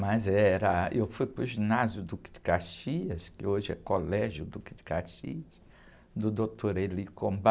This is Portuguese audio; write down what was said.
Mas era, eu fui para o ginásio Duque de Caxias, que hoje é Colégio Duque de Caxias, do doutor,